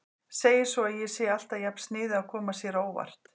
Segir svo að ég sé alltaf jafn sniðug að koma sér á óvart.